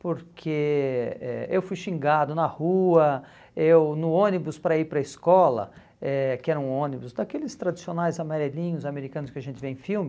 Porque eh eu fui xingado na rua, eu no ônibus para ir para a escola, eh que era um ônibus daqueles tradicionais amarelinhos americanos que a gente vê em filme,